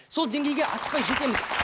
сол деңгейге асықпай жетеміз